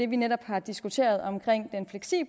vi netop har diskuteret om